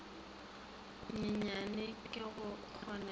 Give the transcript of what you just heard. nyenyane ge go kgonega di